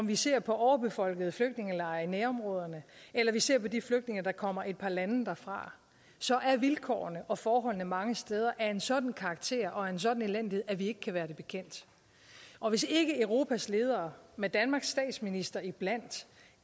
vi ser på overbefolkede flygtningelejre i nærområderne eller vi ser på de flygtninge der kommer et par lande derfra så er vilkårene og forholdene mange steder af en sådan karakter og af en sådan elendighed at vi ikke kan være det bekendt og hvis ikke europas ledere med danmarks statsminister iblandt